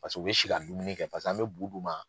Paseke u bɛ si ka dumuni kɛ paseke an bɛ bu d'u ma